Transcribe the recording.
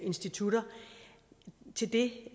institutter til det